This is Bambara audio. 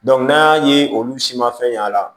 n'a ye olu si ma fɛn ɲ'a la